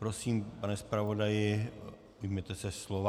Prosím, pane zpravodaji, ujměte se slova.